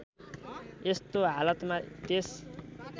यस्तो हालतमा त्यस